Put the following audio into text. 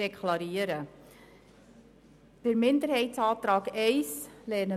Wir lehnen den Minderheitsantrag I ab.